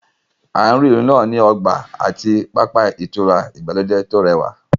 Àárín ìlú náà ní ọgbà àti pápá ìtura ìgbàlódé tó rẹwà